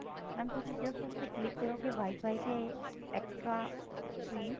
mam ਤੁਸੀਂ just ਉਸ ਤੇ click ਕਰੋਗੇ WIFI ਤੇ extra extreme